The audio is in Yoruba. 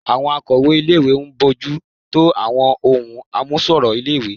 Àwọn akọ̀wé-ìwé ń bójú tó àwọn ohun àmúṣọrọ̀ ilé-ìwé